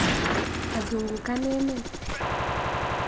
Azungukan emet